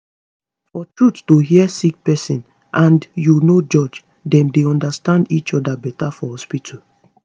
for truth to hear sick pesin and u no judge dem dey understand each oda beta for hospitu